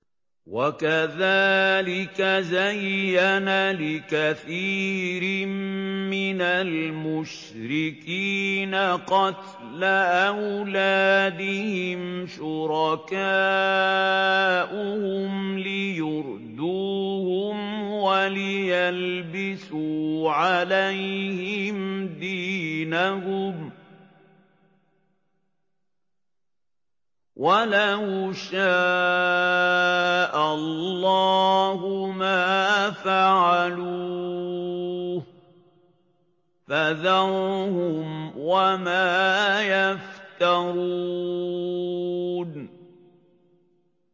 وَكَذَٰلِكَ زَيَّنَ لِكَثِيرٍ مِّنَ الْمُشْرِكِينَ قَتْلَ أَوْلَادِهِمْ شُرَكَاؤُهُمْ لِيُرْدُوهُمْ وَلِيَلْبِسُوا عَلَيْهِمْ دِينَهُمْ ۖ وَلَوْ شَاءَ اللَّهُ مَا فَعَلُوهُ ۖ فَذَرْهُمْ وَمَا يَفْتَرُونَ